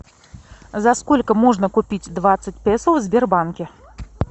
за сколько можно купить двадцать песо в сбербанке